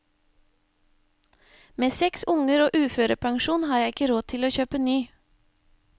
Med seks unger og uførepensjon har jeg ikke råd til å kjøpe ny.